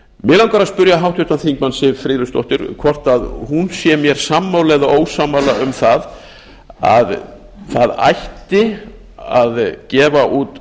mig langar að spyrja háttvirtan þingmann siv friðleifsdóttur hvort hún sé mér sammála eða ósammála um það að það ætti að gefa út